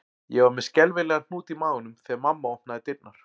Ég var með skelfilegan hnút í maganum þegar mamma opnaði dyrnar